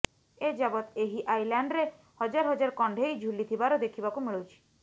ଏଯାବତ୍ ଏହି ଆଇଲ୍ୟାଣ୍ଡରେ ହଜାରହଜାର କଣ୍ଢେଇ ଝୁଲିଥିବାର ଦେଖିବାକୁ ମିଳୁଛି